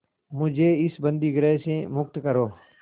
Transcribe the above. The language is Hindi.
मुझे इस बंदीगृह से मुक्त करो